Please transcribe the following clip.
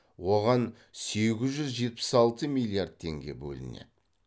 оған сегіз жүз жетпіс алты миллиард теңге бөлінеді